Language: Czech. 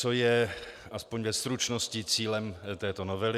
Co je, aspoň ve stručnosti, cílem této novely.